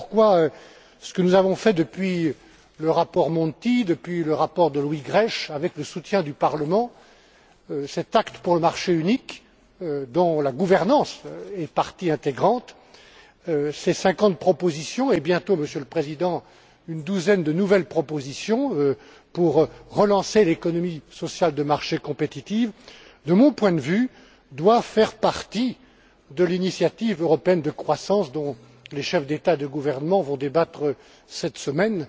Voilà pourquoi, ce que nous avons fait depuis le rapport Monti, depuis le rapport de Louis Grech, avec le soutien du Parlement, cet acte pour le marché unique, dont la gouvernance est partie intégrante, ces cinquante propositions et bientôt, Monsieur le Président, une douzaine de nouvelles propositions pour relancer l'économie sociale de marché compétitive doit faire partie, de mon point de vue, de l'initiative européenne de croissance dont les chefs d'État et de gouvernement vont débattre cette semaine.